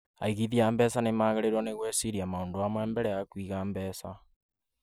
aĩĩgĩthia a mbeca nĩ magĩrĩĩruo nĩ gwĩciria maũndũ mamwe mbere ya Kũiga mbeca.